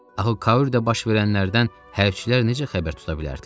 Axı Kaudə baş verənlərdən hərbçilər necə xəbər tuta bilərdilər?